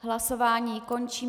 Hlasování končím.